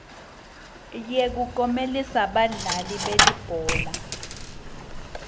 yekuklomelisa badlali belibhola